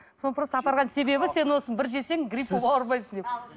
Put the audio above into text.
соны просто апарған себебі сен осыны бір жесең грипп болып ауырмайсың деп